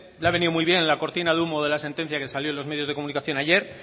le ha venido muy bien la cortina de humo de la sentencia que salió en los medios de comunicación ayer